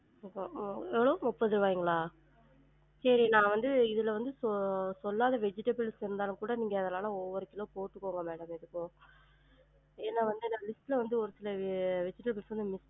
உம் உம் முப்பது ரூவாய்ங்களா? சேரி நா வந்து இதுல வந்து சொ~ சொல்லாத vegetables இருந்தாலும் கூட ஒவ்வொரு கிலோ போட்டுக்கோங்க madam எதுக்கும் ஏனா வந்து list ல வந்து ஒரு சில vegetables வந்து